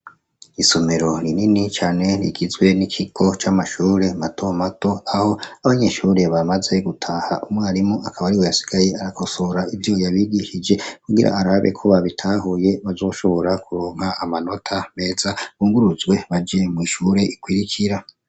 Isomero rinini cane rigizwe n'ikiko c'amashure mato mato aho abanyeshure bamaze gutaha umwarimu akaba ari we yasigaye arakosora ivyo yabigishije kugira arabe ko babitahuye bazoshobora kuronga amanota meza bunguruzwe baje mw'ishure ikwirikira.